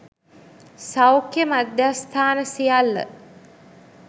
සෞඛ්‍ය මධ්‍යස්ථාන සියල්ල